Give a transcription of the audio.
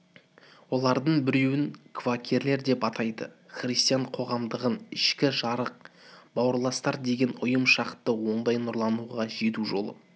олардың біреуін квакерлер деп атайды христиан қоғамындағы ішкі жарық бауырластар деген ұйым шықты ондай нұрлануға жету жолы